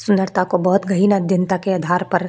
सुन्दरता को बहुत गहिन अध्यांता के आधार पर --